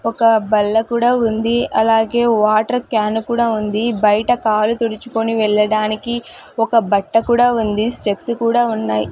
ఒక బల్ల కూడా ఉంది అలాగే వాటర్ కాన్ కూడా ఉంది బయట కాళ్ళు తుడుచుకుని వెళ్ళడానికి ఒక బట్ట కూడా ఉంది స్టెప్స్ కూడా ఉన్నాయి.